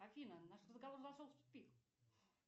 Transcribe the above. афина наш разговор зашел в тупик